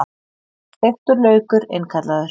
Steiktur laukur innkallaður